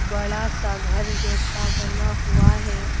बड़ा सा घर जैसा बना हुआ है।